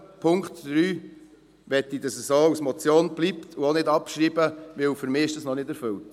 Bei Punkt 3 möchte ich, dass es eine Motion bleibt, und ich möchte den Punkt auch nicht abschreiben, denn für mich ist er noch nicht erfüllt.